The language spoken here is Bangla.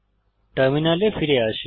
টার্মিনালে ফিরে আসি